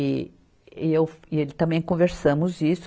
E, e eu e ele também conversamos isso.